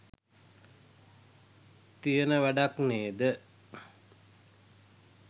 තියන වැඩක් නේද.